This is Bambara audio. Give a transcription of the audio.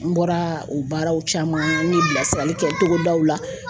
N bɔra u baaraw caman n ye bilasirali kɛ togodaw la